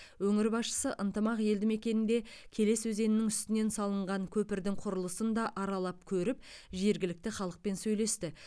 өңір басшысы ынтымақ елді мекенінде келес өзенінің үстінен салынған көпірдің құрылысын да аралап көріп жергілікті халықпен сөйлесті